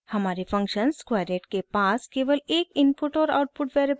हमारे function squareit के पास केवल एक इनपुट और आउटपुट वेरिएबल है